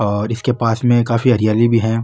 और इसके पास में काफी हरियाली भी है।